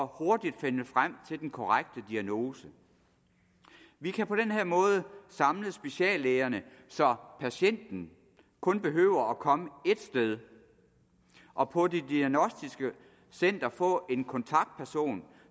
hurtigt finde frem til den korrekte diagnose vi kan på den her måde samle speciallægerne så patienten kun behøver at komme et sted og på det diagnostiske center få en kontaktperson